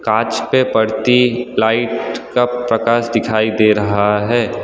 कांच पे पड़ती लाइट कब प्रकाश दिखाई दे रहा है।